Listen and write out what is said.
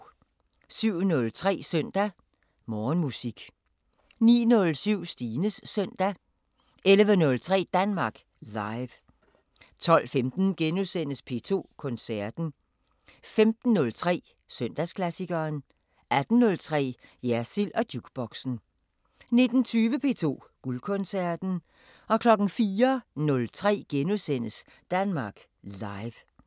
07:03: Søndag Morgenmusik 09:07: Stines Søndag 11:03: Danmark Live 12:15: P2 Koncerten * 15:03: Søndagsklassikeren - 18:03: Jersild & Jukeboxen 19:20: P2 Guldkoncerten 04:03: Danmark Live *